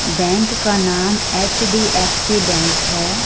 Bank का नाम HDFC bank है।